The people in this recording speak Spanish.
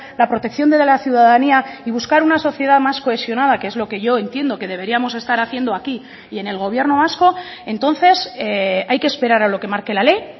la protección de la ciudadanía y buscar una sociedad más cohesionada que es lo que yo entiendo que deberíamos estar haciendo aquí y en el gobierno vasco entonces hay que esperar a lo que marque la ley